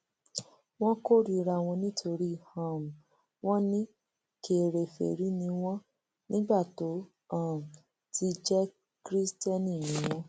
wọn kórìíra wọn nítorí um wọn ní kèrèfèrí ni wọn nígbà tó um ti jẹ kristẹni ni wọn